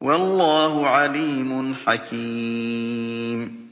وَاللَّهُ عَلِيمٌ حَكِيمٌ